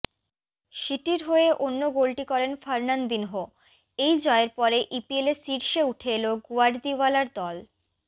সিটির হয়ে অন্য গোলটি করেন ফার্নান্ডিনহো এই জয়ের পরে ইপিএলে শীর্ষে উঠে এল গুয়ার্দিওয়ালার দল